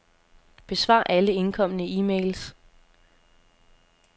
Besvar alle indkomne e-mails.